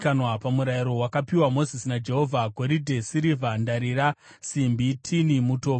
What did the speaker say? pamurayiro wakapiwa Mozisi naJehovha: goridhe, sirivha, ndarira, simbi, tini, mutobvu